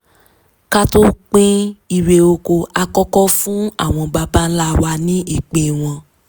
ká tó pín irè oko a kọ́kọ́ fún àwọn baba ńlá wa ní ìpín wọn